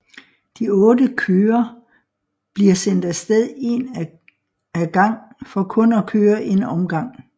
De 8 kører bliver sendt af sted en af gang for kun at køre en omgang